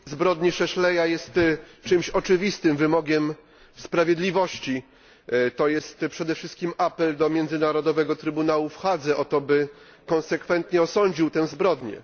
Potępienie zbrodni Szeszela jest oczywistym wymogiem sprawiedliwości, to jest przede wszystkim apel do Międzynarodowego Trybunału w Hadze o to, by konsekwentnie osądził tę zbrodnię.